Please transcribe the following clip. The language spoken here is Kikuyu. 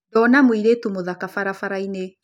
Ndona mũirĩtu mũthaka barabara-inĩ